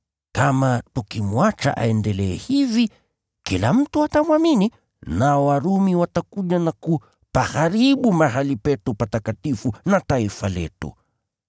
Kama tukimwacha aendelee hivi, kila mtu atamwamini, nao Warumi watakuja na kupaharibu mahali petu patakatifu na taifa letu.”